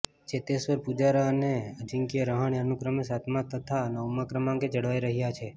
ચેતેશ્વર પૂજારા અને અજિંક્ય રહાણે અનુક્રમે સાતમા તથા નવમા ક્રમાંકે જળવાઈ રહ્યા છે